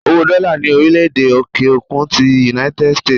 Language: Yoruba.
Owó Dola ni orile-ede òkè-òkun ti "United States"